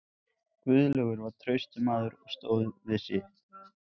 Guðlaugur var traustur maður og stóð við sitt.